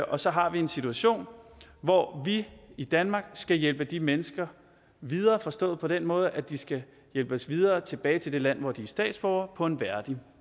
og så har vi en situation hvor vi i danmark skal hjælpe de mennesker videre forstået på den måde at de skal hjælpes videre tilbage til det land hvor de er statsborgere på en værdig